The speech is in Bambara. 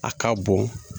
A ka bon